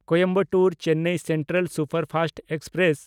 Coimbatore-Chennai central superfast express